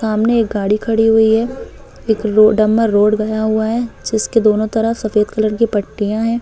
सामने एक गाड़ी खड़ी हुई है एक रोड डम रोड गया हुआ है जिसके दोनों तरफ सफेद कलर की पट्टियाँ हैं।